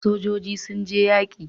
Sojoji sun je yaƙi